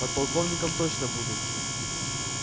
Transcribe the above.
подполковником точно буду